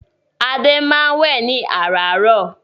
Adé máa ń wẹ́ ẹ̀ ní àràárọ̀.